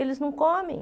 Eles não comem.